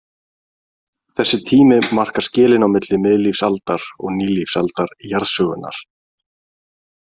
Þessi tími markar skilin á milli miðlífsaldar og nýlífsaldar jarðsögunnar.